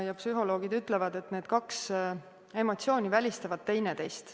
Psühholoogid ütlevad, et need kaks emotsiooni välistavad teineteist.